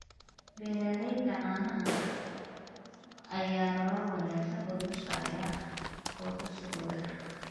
Beeralayda caanaha ayaa nolol wanaagsan u dhisaya qoysaskooda.